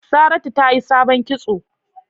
Saratu tayi sabon kitso.